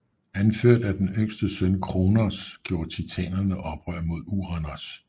Anført af den yngste søn Kronos gjorde titanerne oprør mod Uranos